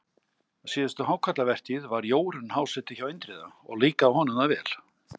síðustu hákarlavertíð var Jórunn háseti hjá Indriða og líkaði honum það vel.